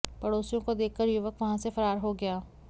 पड़ोसियों को देखकर युवक वहां से फरार हो गया